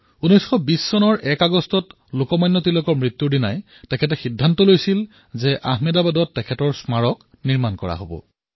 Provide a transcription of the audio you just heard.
যেতিয়া ০১ আগষ্ট ১৯২০ চনত লোকমান্য তিলক স্বৰ্গগামী হল তেতিয়া তেওঁ সিদ্ধান্ত গ্ৰহণ কৰিলে যে আহমেদাবাদত তিলকৰ এটা স্মাৰক স্থাপন কৰিব